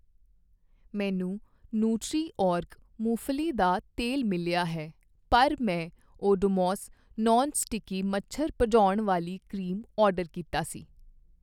ਮੈਨੂੰ Nutriorg ਮੂੰਗਫ਼ਲੀ ਦਾ ਤੇਲ ਮਿਲਿਆ ਹੈ ਪਰ ਮੈਂ ਓਡੋਮੋਸ ਨੌਨ ਸਟਿੱਕੀ ਮੱਛਰ ਭਜਾਉਣ ਵਾਲੀ ਕਰੀਮ ਆਰਡਰ ਕੀਤਾ ਸੀ।